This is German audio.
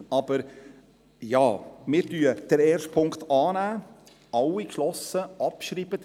Wir nehmen den ersten Punkt an, geschlossen mit Abschreiben.